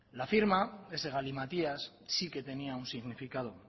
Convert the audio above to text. la firma ese galimatías sí que tenía un significado